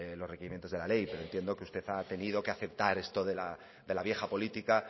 los requerimientos de la ley pero entiendo que usted ha tenido que aceptar esto de la vieja política